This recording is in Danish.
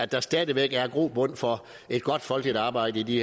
der stadig væk er grobund for et godt folkeligt arbejde i